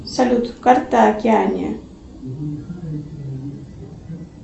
салют карта океании